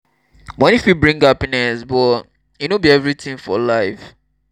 moni fit bring happiness but e no be everything for life. um